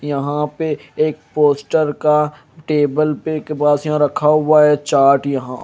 यहां पे एक पोस्टर का टेबल पे के पास यहां रखा हुआ है चार्ट यहां।